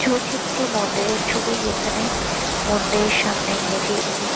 ছবিটি একটি মন্দিরের ছবি যেখানে মন্দিরের সামনে গেট -এ হিস্ --